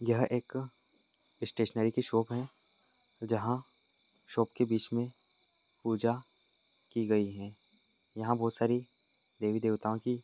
यह एक स्टेशनरी की शॉप है जहा शॉप की बीच मे पूजा की गई है या बहुत सारी देवी देवता ओकी --